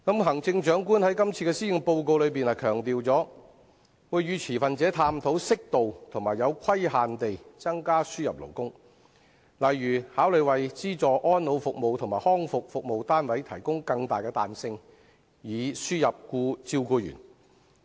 行政長官在今年的施政報告中強調會與持份者探討適度和有規限地增加輸入勞工，例如考慮為資助安老服務及康復服務單位提供更大彈性，以輸入照顧員。